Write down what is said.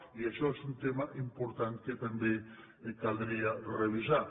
i això és un tema important que també caldria revisar